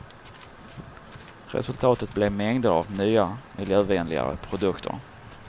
Resultatet blev mängder av nya miljövänligare produkter.